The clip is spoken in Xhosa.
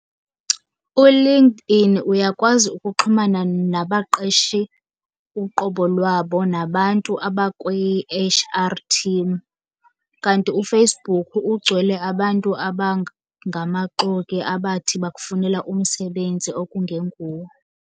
ULinkedIn uyakwazi ukuxhumana nabaqeshi uqobo lwabo nabantu abakwi-H_R team, kanti uFacebook ugcwele abantu ngamaxoki abathi bakufunela umsebenzi okungenguwo.